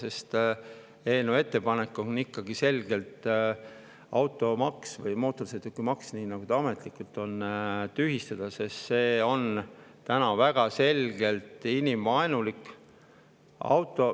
Eelnõu on ikkagi ettepanek automaks või mootorsõidukimaks, nagu see ametlikult on, tühistada, sest see on väga selgelt inimvaenulik.